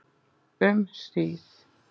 Um hríð.